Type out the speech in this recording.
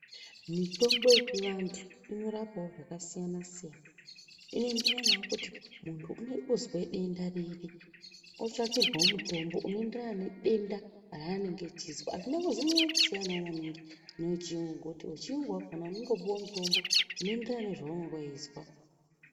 Mitombo yechivantu inorapawo zvakasiyana siyana. Inoyenderanawo nekuti muntu unozwa denda riri otsvakirwawo mutombo onoyenderana nedenda raanenge echizwa. Azvina kuzonyanyakusiyanawo maningi newechiyungu ngekuti wechiyungu wakona unongopuwa mutombo unoyenderana nezvaunenge wechizwa.